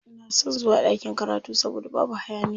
Ina son zuwa ɗakin karatu saboda babu hayaniya.